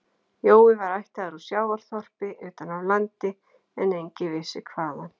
Jói var ættaður úr sjávarþorpi utan af landi en enginn vissi hvaðan